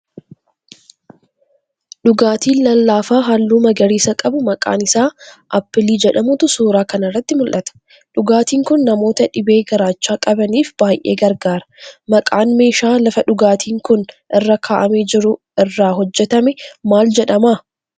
Dhugaatiin lallaafaa halluu magariisa qabu maqaan isaa 'Aappilii' jedhamutu suuraa kanarratti mul'ata. Dhugaatiin kun namoota dhibee garaachaa qabaniif baay'ee gargaara. Maqaan meeshaa lafa dhugaatiin kun irra ka'aamee jiru irraa hojjetamee maal jedhama?